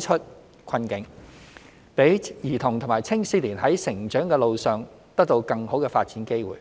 出困境，讓兒童及青少年在成長路上得到更好的發展機會。